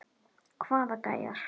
Hvaða gæjar?